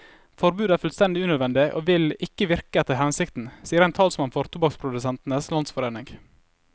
Forbudet er fullstendig unødvendig og vil ikke virke etter hensikten, sier en talsmann for tobakksprodusentenes landsforening.